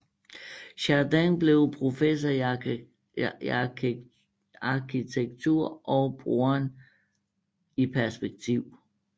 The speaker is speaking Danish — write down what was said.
Jardin blev professor i arkitektur og broderen i perspektiv